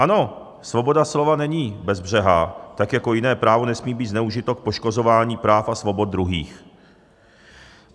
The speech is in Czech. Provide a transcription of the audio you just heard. Ano, svoboda slova není bezbřehá, tak jako jiné právo nesmí být zneužito k poškozování práv a svobod druhých.